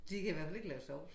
De kan i hvert fald ikke lave sovs